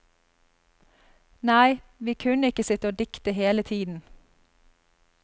Nei, vi kunne ikke sitte og dikte hele tiden.